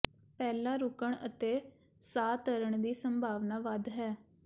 ਪਹਿਲਾਂ ਰੁਕਣ ਅਤੇ ਸਾਹ ਭਰਣ ਦੀ ਸੰਭਾਵਨਾ ਵੱਧ ਹੈ